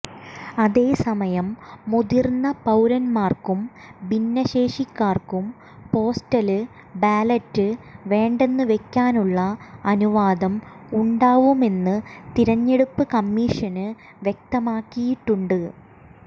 അതേസമയം മുതിര്ന്ന പൌരന്മാര്ക്കും ഭിന്നശേഷിക്കാര്ക്കും പോസ്റ്റല് ബാലറ്റ് വേണ്ടെന്നുവെക്കാനുള്ള അനുവാദവും ഉണ്ടാവുമെന്ന് തിരഞ്ഞെടുപ്പ് കമ്മീഷന് വ്യക്തമാക്കിയിട്ടുണ്ട്